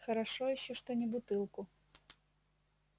хорошо ещё что не бутылку